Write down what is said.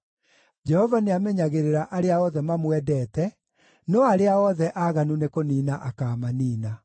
Jehova nĩamenyagĩrĩra arĩa othe mamwendete, no arĩa othe aaganu nĩkũniina akaamaniina.